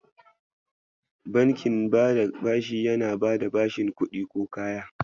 Bankin bada bashi yana bada bashin kuɗi ko kaya.